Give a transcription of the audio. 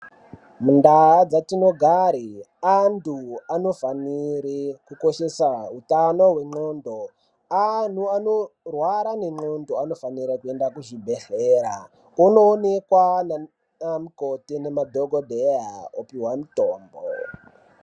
Mundau dzatinogara anhu anofanire kukoshesa utano hwenxlondo ,anhu anorwara nenxlondo anofanire kuende kuzvibhehleya onoonekwa nanamukoti nemadhokodheya opiwa mutombo.